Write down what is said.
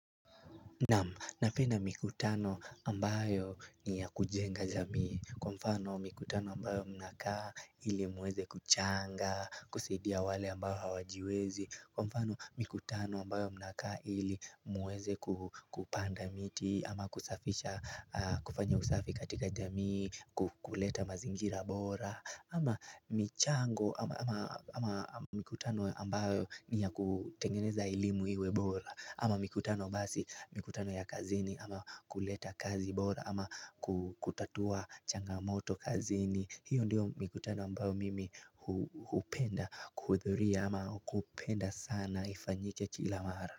Naam, napenda mikutano ambayo ni ya kujenga jamii Kwa mfano mikutano ambayo mnaka ili muweze kuchanga, kusidia wale ambao hawajiwezi Kwa mfano mikutano ambayo mnaka ili muweze kupanda miti ama kufanya usafi katika jamii, ku kuleta mazingira bora ama mikutano ambayo ni ya kutengeneza elimu iwe bora ama mikutano basi mikutano ya kazini ama kuleta kazi bora ama kutatua changamoto kazini hiyo ndiyo mikutano ambayo mimi hupenda kuhudhuria ama kupenda sana ifanyike kila mara.